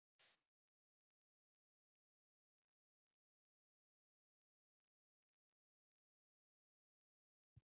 Hafþór Gunnarsson: Og skemmdist eitthvað?